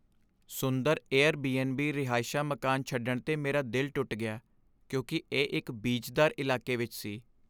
ਸੁੰਦਰ Airbnb ਰਹਾਇਸ਼ਾ ਮਕਾਨ ਛੱਡਣ 'ਤੇ ਮੇਰਾ ਦਿਲ ਟੁੱਟ ਗਿਆ ਕਿਉਂਕਿ ਇਹ ਇੱਕ ਬੀਜਦਾਰ ਇਲਾਕੇ ਵਿੱਚ ਸੀ।